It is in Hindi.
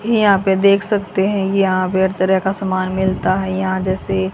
यहां पे देख सकते हैं यहां पे हर तरह का सामान मिलता है यहां जैसे--